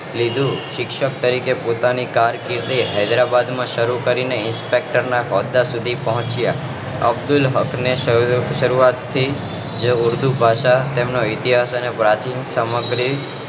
લીધું શિક્ષક તરીકે પોતાની કારકીદી હૈદરાબાદ માં શરૂ કરીને ઇન્સ્પેક્ટર ના હોદ્દા સુધી પહોચ્યા અબ્દુલ હક્ક ને શરૂઆત થી તે ઉર્દુ ભાષા તેમજ ઈતિહાસ અને પ્રાચીન સમગ્રી